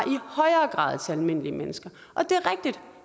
til den almindelige mennesker